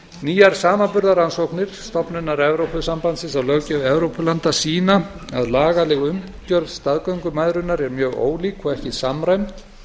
nýjar samanburðarrannsóknir stofnunar evrópusambandsins á löggjöf evrópulanda sýna að lagaleg umgjörð staðgöngumæðrunar er mjög ólík og ekki samræmd